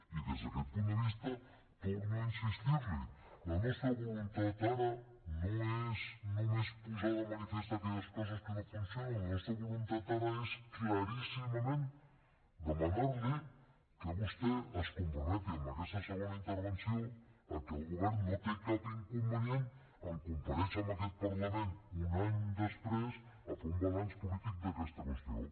i des d’aquest punt de vista torno a insistir hi la nostra voluntat ara no és només posar de manifest aquelles coses que no funcionen la nostra voluntat ara és claríssimament demanar li que vostè es comprometi en aquesta segona intervenció a que el govern no té cap inconvenient en comparèixer en aquest parlament un any després a fer un balanç polític d’aquesta qüestió